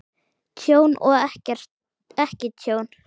Tjón og ekki tjón?